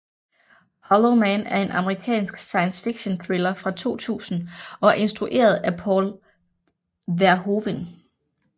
Hollow Man er en amerikansk science fictionthriller fra 2000 og er instrueret af Paul Verhoeven